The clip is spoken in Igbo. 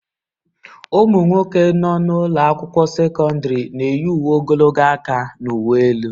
Ụmụ nwoke nọ n'ụlọ akwụkwọ sekọndrị na-eyi uwe ogologo aka n'uwe elu.